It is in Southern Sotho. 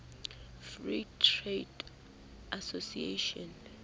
free trade association